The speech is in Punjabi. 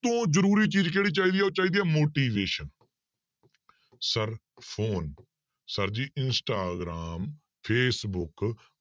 ਤੋਂ ਜ਼ਰੂਰੀ ਚੀਜ਼ ਕਿਹੜੀ ਚਾਹੀਦੀ ਹੈ ਉਹ ਚਾਹੀਦੀ ਹੈ motivation sir phone sir ji Instagram, Facebook